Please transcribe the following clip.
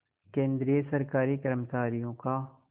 केंद्रीय सरकारी कर्मचारियों का